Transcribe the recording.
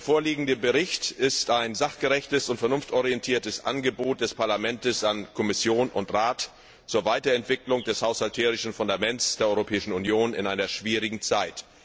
Der vorliegende Bericht ist ein sachgerechtes und vernunftorientiertes Angebot des Parlaments an Kommission und Rat zur Weiterentwicklung des haushälterischen Fundaments der Europäischen Union in einer schwierigen Zeit.